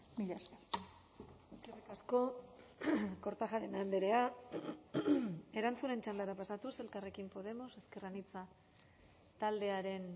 mila esker eskerrik asko kortajarena andrea erantzunen txandara pasatuz elkarrekin podemos ezker anitza taldearen